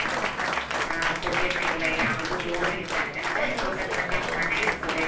ಯಾವ ಆ ಹೋಗೆನು ಇಲ್ಲ, ಯಾವ್ದು ಧೂಳು ಇಲ್ಲ ಅಂದ್ರೆ ತೋಟದ್ ಮಧ್ಯ ಮನೆ ಇರ್ತದೆ.